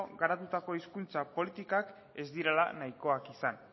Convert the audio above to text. garatutako hizkuntza politikak ez direla nahikoak izan